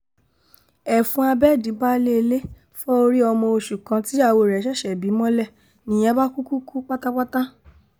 ẹfun abéèdì baálé ilé fọ́ orí ọmọ oṣù kan tíyàwó rẹ̀ ṣẹ̀ṣẹ̀ bí mọ́lẹ̀ nìyẹn bá kú kú pátápátá